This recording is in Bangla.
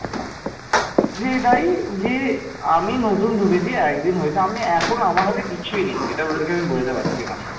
পাল সম্রাটগণ প্রথমত মহাযান বৌদ্ধ ধর্মের অনুসারী ছিলেন